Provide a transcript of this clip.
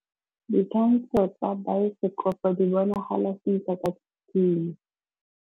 Ditshwantshô tsa biosekopo di bonagala sentle ka tshitshinyô.